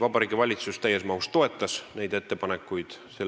Vabariigi Valitsus toetas meie ettepanekuid täies mahus.